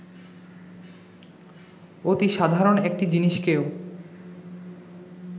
অতি সাধারণ একটি জিনিসকেও